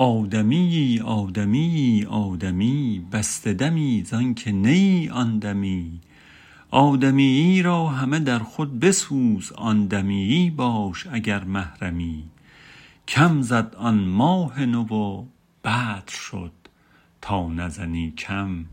آدمیی آدمیی آدمی بسته دمی زانک نه آن دمی آدمیی را همه در خود بسوز آن دمیی باش اگر محرمی کم زد آن ماه نو و بدر شد تا نزنی کم